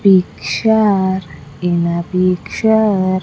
Picture in a picture --